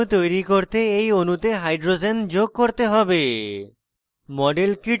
ethane ethane অণু তৈরি করতে we অণুতে hydrogens যোগ করতে have